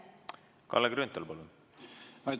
Kalle Grünthal, palun!